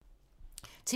TV 2